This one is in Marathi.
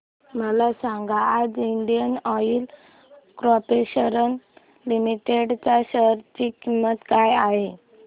मला सांगा आज इंडियन ऑइल कॉर्पोरेशन लिमिटेड च्या शेअर ची किंमत काय आहे